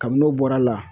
Kabini n'o bɔra a la